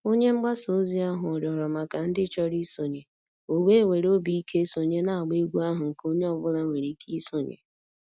Onye mgbasa ozi ahụ rịọrọ maka ndị chọrọ isonye, o wee were obi ike sonye n'agba egwu ahụ nke onye ọ bụla nwere ike isonye.